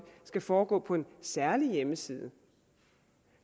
skal foregå på en særlig hjemmeside